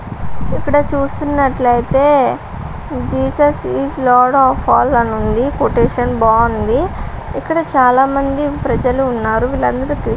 ఇక్కడ చూస్తునట్లైతే Jesus is lord of all అని ఉంది కొటేషన్ బాగుంది ఇక్కడ చాలా మంది ప్రజలు ఉన్నారు వీళ్లందరు క్రిస్టియన్స్ --